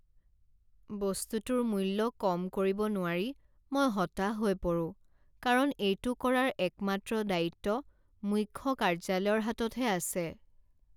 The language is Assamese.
বস্তুটোৰ মূল্য কম কৰিব নোৱাৰি মই হতাশ হৈ পৰোঁ কাৰণ এইটো কৰাৰ একমাত্ৰ দায়িত্ব মুখ্য কাৰ্য্যালয়ৰ হাততহে আছে।